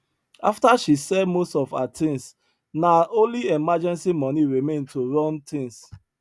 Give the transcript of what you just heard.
after she sell most of her things na only emergency money remain to run things